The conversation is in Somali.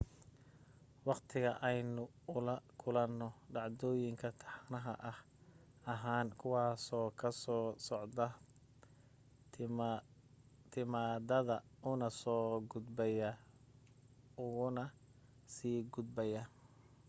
waqtiga ayaynu ula kulanaa dhacdooyin taxane ah ahaan kuwaasoo ka soo socda timaadada una soo gudbaya ugana sii gudbaya